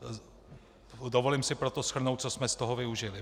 Dovolím si proto shrnout, co jsme z toho využili.